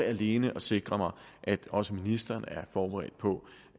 alene at sikre mig at også ministeren er forberedt på